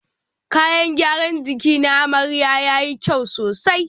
Kayan gyaran jiki na amarya yayi kyau sosai.